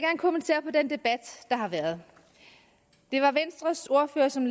vil den debat der har været det var venstres ordfører som